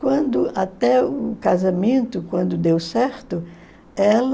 Quando até o casamento, quando deu certo, ela...